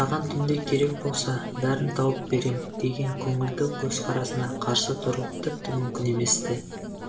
саған түнде керек болса бәрін тауып берем деген көңілді көзқарасына қарсы тұру тіпті мүмкін емес-ті